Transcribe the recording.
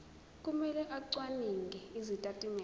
kumele acwaninge izitatimende